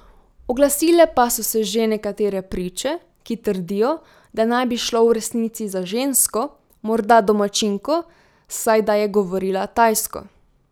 Oglasile pa so se že nekatere priče, ki trdijo, da naj bi šlo v resnici za žensko, morda domačinko, saj da je govorila tajsko.